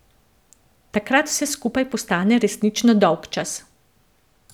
Takrat vse skupaj postane resnično dolgčas.